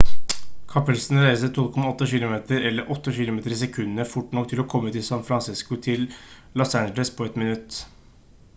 kapselen reiser 12,8 kilometer eller 8 kilometer i sekundet fort nok til å komme fra san francisco til los angeles på ett minutt